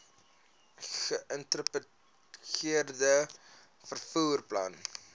geïntegreerde vervoer plan